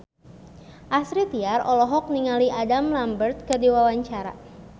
Astrid Tiar olohok ningali Adam Lambert keur diwawancara